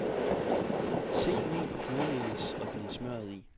Sigt mel og flormelis og gnid smørret i.